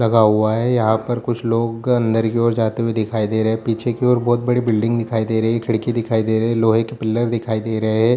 लगा हुआ है यहां पर कुछ लोग अंदर की ओर जाते हुए दिखाई दे रहे पीछे की ओर बहुत बड़ी बिल्डिंग दिखाई दे रही खिड़की दिखाई दे रहे लोहे के पिलर दिखाई दे रहे।